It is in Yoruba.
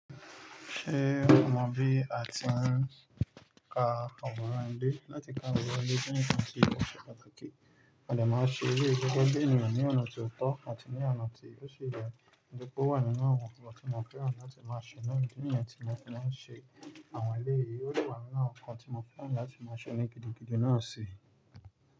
Ṣé ọmọ bí àti ń ka ọ̀rọ̀ ńlá láti ka ọ̀rọ̀ ẹlẹ́tẹ ni kí wọ́n ṣe pàtàkì? Wọ̀lẹ̀ má ṣe wí gbogbo díìnì yẹn ní ọ̀nà tí ó tọ́ àti ní ọ̀nà tí ó ṣe é yàn. Ǹjẹ́ kó wà nínú àwọn nǹkan tí mo fẹ́ràn láti máa ṣe nínú ìyà tí mo fẹ́ máa ṣe àwọn eléyìí, ó wà nínú àwọn nǹkan tí mo fẹ́ràn láti máa ṣe ní gidigidi náà sì.